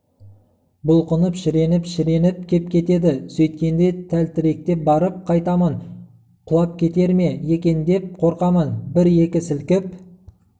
бұлқынып шіреніп-шіреніп кеп кетеді сөйткенде тәлтіректеп барып қайтамын құлап кетер ме екен деп қорқамын бір-екі сілкіп